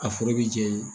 A foro bɛ jɛn ye